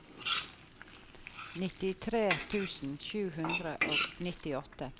nittitre tusen sju hundre og nittiåtte